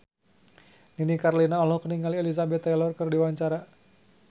Nini Carlina olohok ningali Elizabeth Taylor keur diwawancara